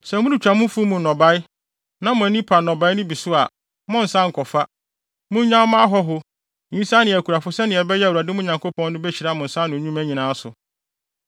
Sɛ moretwa mo mfuw mu nnɔbae, na mo ani pa nnɔbae no bi so a, monnsan nkɔfa. Monnyaw ma ahɔho, nyisaa ne akunafo sɛnea ɛbɛyɛ a Awurade, mo Nyankopɔn no, behyira mo nsa ano nnwuma nyinaa so.